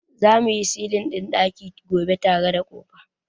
Za mu yi silin ɗin ɗaki gobe tare da ƙofa.